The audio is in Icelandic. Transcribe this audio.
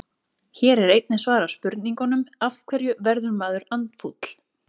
Hér er einnig svarað spurningunum: Af hverju verður maður andfúll?